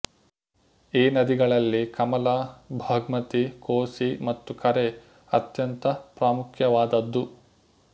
ಈ ನದಿಗಳಲ್ಲಿ ಕಮಲಾ ಬಗ್ಹ್ಮತಿ ಕೊಸಿ ಮತ್ತು ಕರೆಹ್ ಅತ್ಯಂತ ಪ್ರಾಮುಖ್ಯವಾದದ್ದು